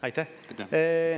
Aitäh!